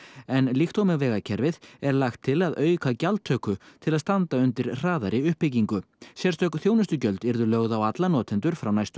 en líkt og með vegakerfið er lagt til að auka gjaldtöku til að standa undir hraðari uppbyggingu sérstök þjónustugjöld sem yrðu lögð á alla notendur frá næstu